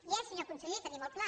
hi és senyor conseller tenim el pla